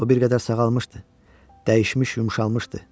O bir qədər sağalmışdı, dəyişmiş, yumşalmışdı.